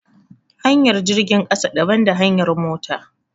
Hanyar jirgin ƙasa daban da hanyar mota